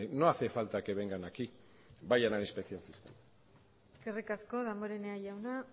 no hace falta que vengan aquí vayan a inspección eskerrik asko damborenea jauna